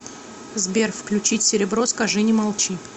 сбер включить серебро скажи не молчи